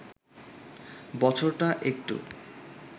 বছরটা একটু